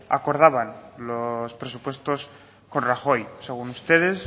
acordaban los presupuestos con rajoy según ustedes